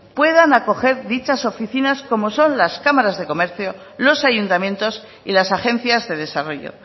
puedan acoger dichas oficinas como son las cámaras de comercio los ayuntamientos y las agencias de desarrollo